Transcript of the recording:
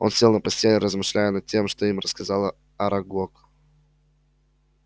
он сел на постель размышляя над тем что им рассказал арагог